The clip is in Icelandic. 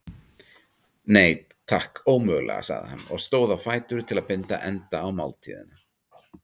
Nei, takk, ómögulega sagði hann og stóð á fætur til að binda enda á máltíðina.